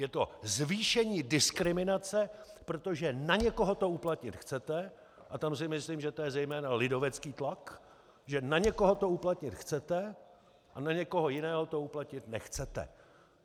Je to zvýšení diskriminace, protože na někoho to uplatnit chcete, a tam si myslím, že to je zejména lidovecký tlak, že na někoho to uplatnit chcete a na někoho jiného to uplatnit nechcete.